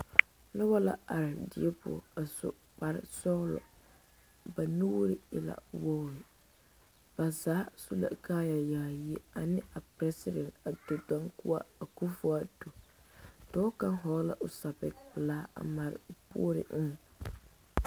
Nobɔ la are die poɔ a su kparesɔglɔ ba nuure e la wogre ba zaa su la kaaya yaayi ane a president ado dankwa akufuoado dɔɔ kaŋ hɔɔle la o sɛpigepelaa a mare o puori eŋɛ.